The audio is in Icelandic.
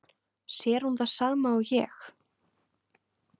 Sér hún það sama og ég?